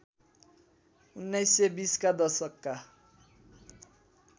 १९२० का दशकका